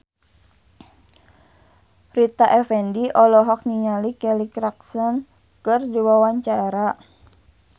Rita Effendy olohok ningali Kelly Clarkson keur diwawancara